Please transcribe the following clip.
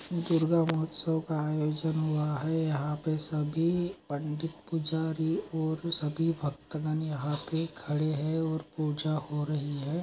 दुर्गा उत्सव का आयोजन हो रहा हे यहा पर सभी पंडित पुजारी और सभी बक्त जन यहा पड़ खड़े हे और पूजा हो रही हे--